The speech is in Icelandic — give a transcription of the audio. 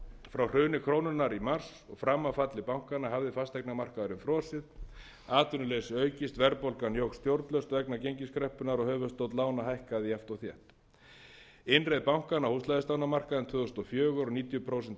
frá hruni krónunnar í mars og fram að falli bankanna hafði fasteignamarkaðurinn frosið atvinnuleysi aukist verðbólgan jókst stjórnlaust vegna gengiskreppunnar og höfuðstóll lána hækkaði jafnt og þétt innreið bankanna á húsnæðislánamarkaðinn tvö þúsund og fjögur og níutíu prósent